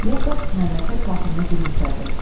Yakov nəzakət xatirinə gülümsədi.